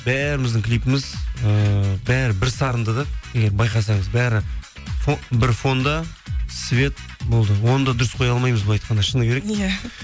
бәріміздің клипіміз ііі бәрі бір сарынды да егер байқасаңыз бәрі бір фонда свет болды оны да дұрыс қоя алмаймыз былай айтқанда шыны керек иә